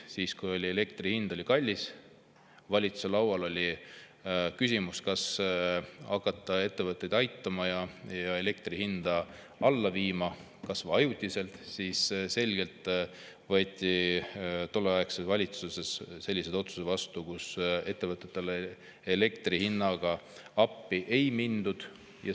Siis, kui elektri hind oli kallis ja valitsuse laual oli küsimus, kas hakata ettevõtteid aitama ja elektri hinda alla viima, kas või ajutiselt, võeti tolleaegses valitsuses selgelt vastu otsus, et ettevõtetele elektri hinna puhul appi ei minda.